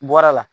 Bɔra la